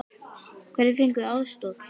Hverjir fengu aðstoð?